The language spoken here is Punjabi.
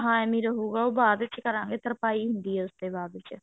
ਹਾਂ ਇਵਿਨ ਰ੍ਰ੍ਹੁਗਾ ਉਹ ਬਾਅਦ ਚ ਕਰਾਂਗੇ ਤਰਪਾਈ ਹੁੰਦੀ ਹੈ ਉਸ ਤੇ ਬਾਅਦ ਚ